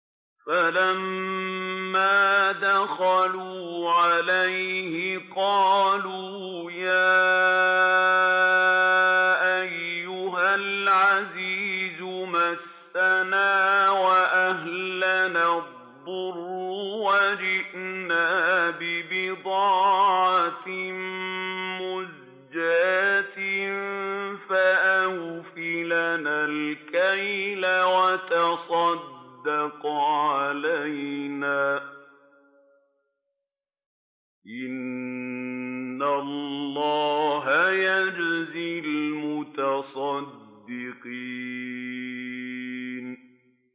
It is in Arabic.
فَلَمَّا دَخَلُوا عَلَيْهِ قَالُوا يَا أَيُّهَا الْعَزِيزُ مَسَّنَا وَأَهْلَنَا الضُّرُّ وَجِئْنَا بِبِضَاعَةٍ مُّزْجَاةٍ فَأَوْفِ لَنَا الْكَيْلَ وَتَصَدَّقْ عَلَيْنَا ۖ إِنَّ اللَّهَ يَجْزِي الْمُتَصَدِّقِينَ